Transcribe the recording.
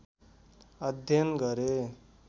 अध्ययन गरे